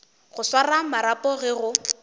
go swara marapo ge go